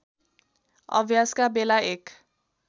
अभ्यासका बेला एक